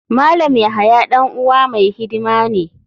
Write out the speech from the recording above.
Malam yahaya dan uwa mai hidima ne.